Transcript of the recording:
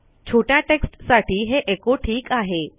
छोट्या टेक्स्टसाठी हे एचो ठीक आहे